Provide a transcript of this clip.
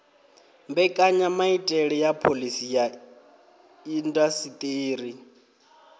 mbekanyamaitele ya phoḽisi ya indasiṱeri